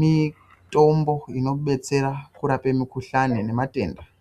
mitombo inobetsera kurapa mikuhlani nematenda.